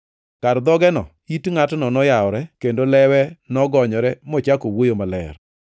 Kar dhogeno it ngʼatno noyawore kendo lewe nogonyore mochako wuoyo maler.